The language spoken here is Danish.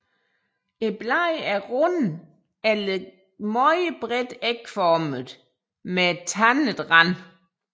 Bladene er runde eller meget bredt ægformede med tandet rand